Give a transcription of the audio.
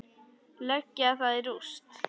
Leggja það í rúst!